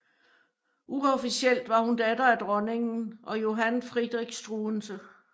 Uofficielt var hun datter af dronningen og Johann Friedrich Struensee